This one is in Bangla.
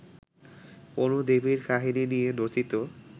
কোন দেবীর কাহিনী নিয়ে রচিত